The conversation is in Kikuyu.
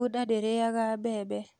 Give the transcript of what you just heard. bunda ndĩrĩaga mbembe.